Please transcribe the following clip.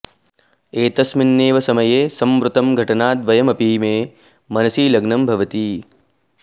एतस्मिन्नेव समये संवृत्तं घटनाद्वयमपि मे मनसि लग्नं भवति